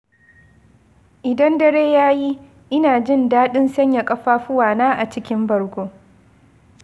Idan dare ya yi, ina jin daɗin sanya ƙafafuwana a cikin bargo.